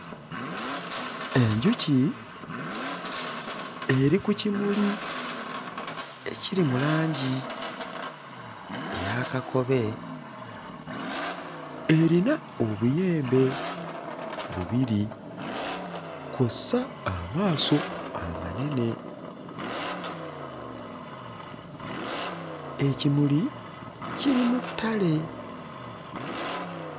Enjuki eri ku kimuli ekiri mu langi eya kakobe, erina obuyembe bubiri kw'ossa amaaso amanene, ekimuli kiri mu ttale.